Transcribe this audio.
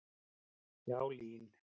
Já, LÍN.